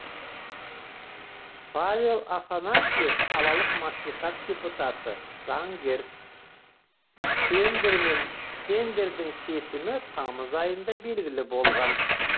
павел афанасьев қалалық мәслихат депутаты заңгер тендердің шешімі тамыз айында белгілі болған